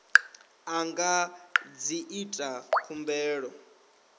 a nga ḓi ita khumbelo